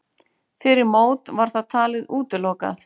Fyrir mót var það talið útilokað.